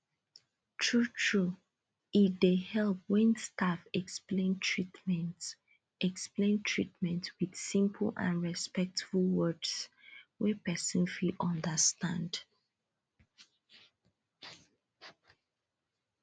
truetrue e dey help when staff explain treatment explain treatment with simple and respectful words wey person fit understand